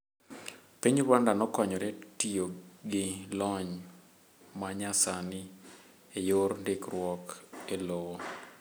Piny Rwanda nokonyore tiyogi lony manyasani eyor ndikruok elowo.